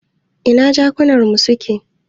Ina jakunar mu suke?